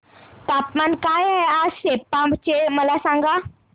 तापमान काय आहे आज सेप्पा चे मला सांगा